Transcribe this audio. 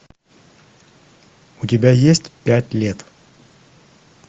у тебя есть пять лет